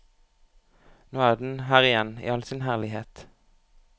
Nå er den her igjen i all sin herlighet.